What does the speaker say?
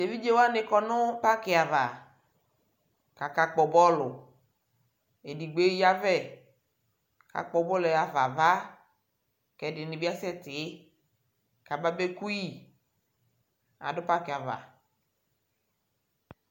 Evidze wanɩ kɔ nʋ pakɩ ava kʋ akakpɔ bɔlʋ Edigbo eyavɛ kʋ akpɔ bɔlʋ yɛ ɣa fa ava kʋ ɛdɩnɩ bɩ asɛtɩ kababeku yɩ Adʋ pakɩ ava